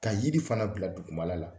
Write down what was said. Ka yiri fana bila duguma la